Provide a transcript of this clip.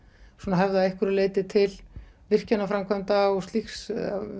höfða að einhverju leyti til virkjanaframkvæmda og slíks